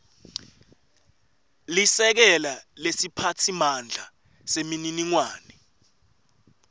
lisekela lesiphatsimandla semininingwane